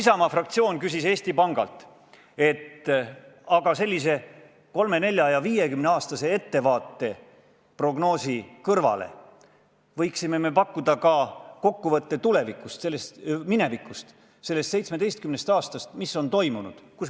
Isamaa fraktsioon ütles Eesti Pangale, et sellise 30, 40 ja 50 aasta pikkuse ettevaate prognoosi kõrvale me võime pakkuda kokkuvõtte minevikust, sellest 17 aastast, mis on möödunud.